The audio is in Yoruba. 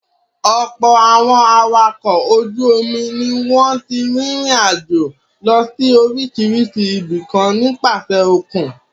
Ọ̀pọ̀ àwọn awakọ̀ ojú-omi ni wọ́n ti rìnrìn-àjò lọ sí oríṣiríṣi ibìkan nípasẹ̀ òkun.